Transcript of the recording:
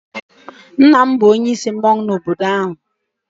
nna m bu onye isi mmanwu n'obodo m.